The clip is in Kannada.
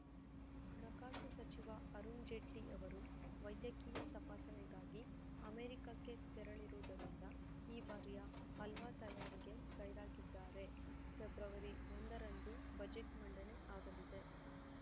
ಹಣಕಾಸು ಸಚಿವ ಅರುಣ್‌ ಜೇಟ್ಲಿ ಅವರು ವೈದ್ಯಕೀಯ ತಪಾಸಣೆಗಾಗಿ ಅಮೆರಿಕಕ್ಕೆ ತೆರಳಿರುವುದರಿಂದ ಈ ಬಾರಿಯ ಹಲ್ವಾ ತಯಾರಿಗೆ ಗೈರಾಗಿದ್ದಾರೆ ಫೆಬ್ರವರಿ ಒಂದರಂದು ಬಜೆಟ್‌ ಮಂಡನೆ ಆಗಲಿದೆ